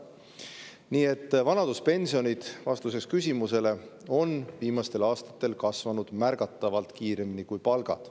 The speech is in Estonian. Nii et vanaduspensionid – vastuseks küsimusele – on viimastel aastatel kasvanud märgatavalt kiiremini kui palgad.